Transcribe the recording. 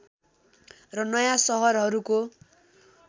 र नयाँ सहरहरूको